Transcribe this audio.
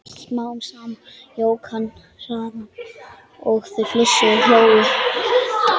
Smám saman jók hann hraðann og þau flissuðu og hlógu.